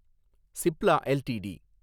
Cipla LTD